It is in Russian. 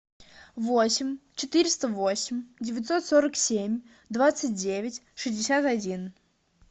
восемь четыреста восемь девятьсот сорок семь двадцать девять шестьдесят один